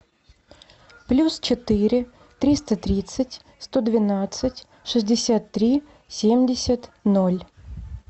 плюс четыре триста тридцать сто двенадцать шестьдесят три семьдесят ноль